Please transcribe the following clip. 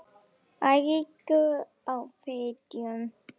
Eiríkur á Fitjum.